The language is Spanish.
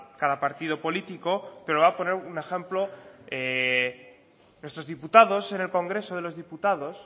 cada partido político pero voy a poner un ejemplo nuestros diputados en el congreso de los diputados